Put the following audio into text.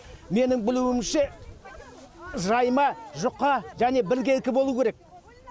менің білуімше жайма жұқа және біркелкі болу керек